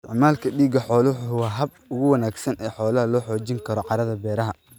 Isticmaalka digada xooluhu waa habka ugu wanaagsan ee loo xoojin karo carrada beeraha.